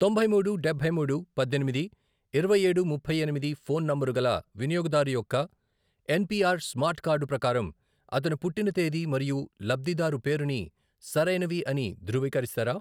తొంభై మూడు, డబ్బై మూడు, పద్దెనిమిది, ఇరవై ఏడు ముప్పై ఎనిమిది, ఫోన్ నంబరు గల వినియోగదారు యొక్క ఎన్పిఆర్ స్మార్ట్ కార్డు ప్రకారం అతని పుట్టిన తేది మరియు లబ్ధిదారు పేరుని సరైనవి అని ధృవీకరిస్తారా?